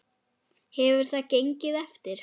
Hefur það gengið eftir?